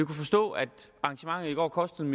kan forstå at arrangementet i går kostede